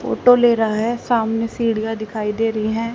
Photo ले रहा है सामने सीढ़ियां दिखाई दे रही हैं।